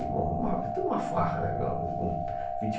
tudo uma farra, né? Com vinte